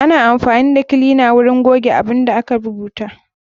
Ana amfani da kilina na wurin goge abun da aka rubuta.